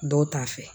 Dɔw ta fɛ